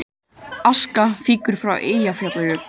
Aska fýkur frá Eyjafjallajökli